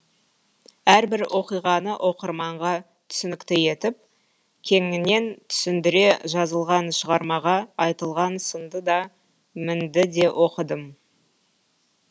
әрбір оқиғаны оқырманға түсінікті етіп кеңінен түсіндіре жазылған шығармаға айтылған сынды да мінді де оқыдым